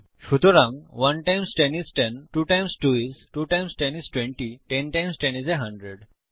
সুতরাং 1 times 10 is 10 2 times 2 is 2 times 10 is 20 10 times 10 is a hundred